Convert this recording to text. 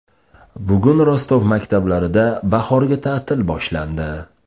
Bugun Rostov maktablarida bahorgi ta’til boshlandi.